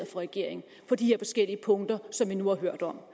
for regeringen på de forskellige punkter som vi nu har hørt om